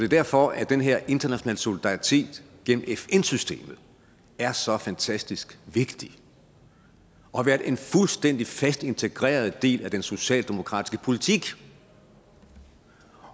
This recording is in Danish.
derfor den her internationale solidaritet gennem fn systemet er så fantastisk vigtig og har været en fuldstændig fast integreret del af den socialdemokratiske politik